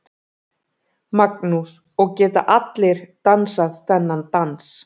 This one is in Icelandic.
Magnús: Og geta allir dansað þennan dans?